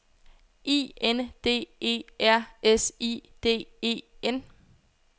I N D E R S I D E N